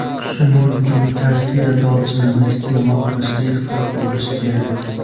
Shuning uchun kassiya dolchinini iste’mol qilishda ehtiyot bo‘lish kerak.